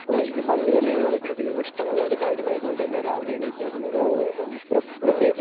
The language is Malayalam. അപ്പോ എനിക്ക് പന്തുകളി വളരെയധികം ഇഷ്ടമുള്ള ഒരു കാര്യമായതു കൊണ്ട് തന്നെ രാവിലെയെണീറ്റ ഉടനെ തന്നെ പന്തു കളിക്കാൻ പോയാരുന്നു.